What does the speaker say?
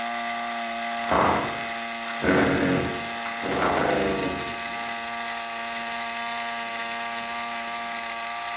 Af hverju slæðu?